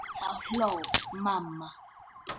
Þá hló mamma.